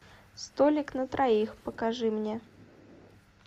столик на троих покажи мне